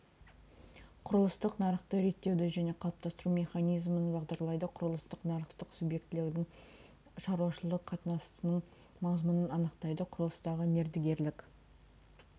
құрылыстық нарықты реттеуді және қалыптастыру механизмін бағдарлайды құрылыстық нарықтың субъектілерінің шаруашылық қатынасының мазмұнын анықтайды құрылыстағы мердігерлік